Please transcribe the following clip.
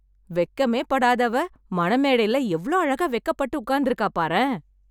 வெக்கமே படாதவ, மணமேடைல எவ்ளோ அழகா வெக்கப்பட்டு உக்காந்துருக்கா பாரேன்...